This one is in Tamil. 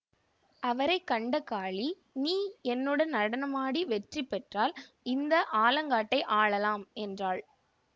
அவரை கண்ட காளி நீ என்னுடன் நடனமாடி வெற்றிபெற்றால் இந்த ஆலங்காட்டை ஆளலாம் என்றாள்